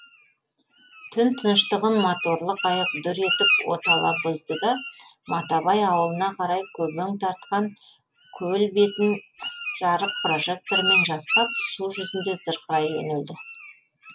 түн тыныштығын моторлы қайық дүр етіп отала бұзды да матабай ауылына қарай көбең тартқан көл бетін жарық прожекторымен жасқап су жүзінде зырқырай жөнелді